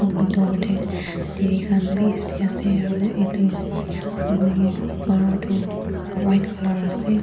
aru bithor tae T_V khan bishi asa aru etu ghor colour toh white colour ase.